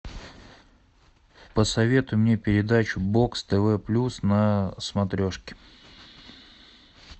посоветуй мне передачу бокс тв плюс на смотрешке